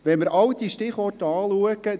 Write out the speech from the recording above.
Wenn wir all diese Stichworte betrachten: